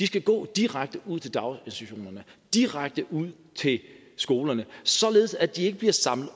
skal gå direkte ud til daginstitutionerne direkte ud til skolerne således at de ikke bliver samlet